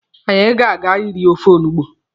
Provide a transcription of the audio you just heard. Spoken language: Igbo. Anyị ga-aga iri ofe olugbu.